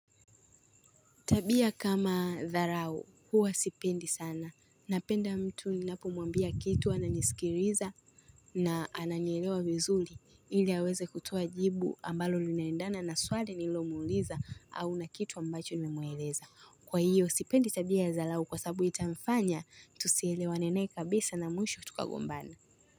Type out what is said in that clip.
Tabia kama dharau, huwa sipendi sana. Napenda mtu ni napo mwambia kitu a nanisikiriza na ananielewa vizuli ili aweze kutoa jibu ambalo linaendana na swali nililo muuliza au na kitu ambacho ni memueleza. Kwa hiyo, sipendi tabia ya dharau kwa sababu itamfanya, tusielewa naye kabisa na mwisho tukagombana.